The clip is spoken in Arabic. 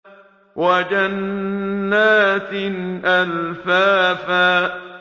وَجَنَّاتٍ أَلْفَافًا